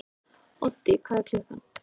Oddi, hvað er klukkan?